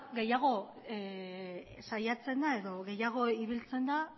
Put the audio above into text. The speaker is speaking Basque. gehiago saiatzen da edo gehiago ibiltzen da